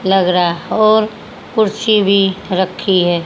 लग रहा और कुर्सी भी रखी है।